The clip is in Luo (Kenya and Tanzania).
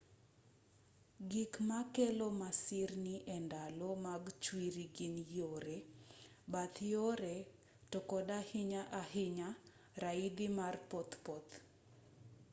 gik makelo masirni e ndalo mag chwiri gin yore bath yore to kod ahinya ahinya raidhi ma pothpoth